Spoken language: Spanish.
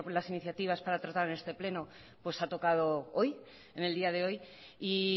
iniciativas para tratar en este pleno pues ha tocado hoy en el día de hoy y